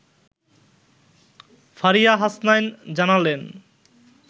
ফারিয়া হাসনাইন জানালেন